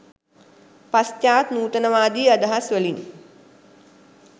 පශ්චාත් නූතනවාදී අදහස්වලින්